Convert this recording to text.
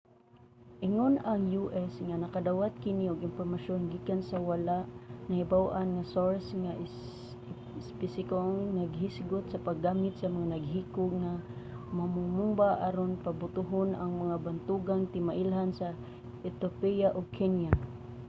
ingon ang u.s. nga nakadawat kini og impormasyon gikan sa wala nahibaw-an nga source nga espesipikong naghisgot sa paggamit sa mga naghikog nga mamomomba aron pabutohon ang mga bantugang timailhan sa ethiopia ug kenya